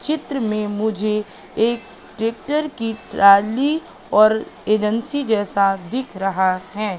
चित्र में मुझे एक ट्रैक्टर की ट्राली और एजेंसी जैसा दिख रहा है।